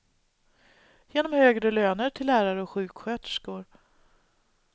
Genom högre löner till lärare och sjuksköterskor.